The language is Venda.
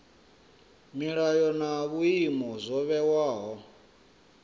milayo na vhuimo zwo vhewaho